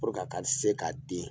ka se ka den.